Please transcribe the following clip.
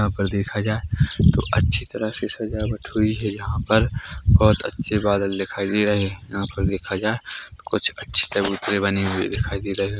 यहां पे देखा जाए तों अच्छी तरह से सजावट हुई है यहां पर बोहोत अच्छे बादल दिखाई दे रहे है यहां पर देखा जाए कुछ अच्छे चबूतरे बने हुए दिखाई दे रहे है।